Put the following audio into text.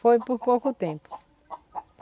Foi por pouco tempo.